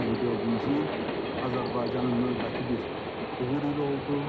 2024-cü il Azərbaycanın növbəti bir uğur ili oldu.